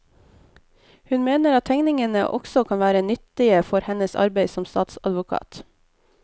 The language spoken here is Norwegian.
Hun mener at tegningene også kan være nyttige for hennes arbeid som statsadvokat.